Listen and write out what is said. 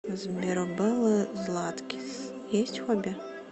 сбер у беллы златкис есть хобби